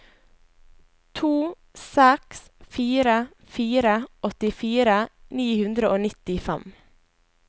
to seks fire fire åttifire ni hundre og nittifem